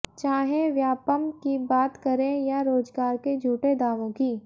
चाहे व्यापमं की बात करें या रोजगार के झूठे दावों की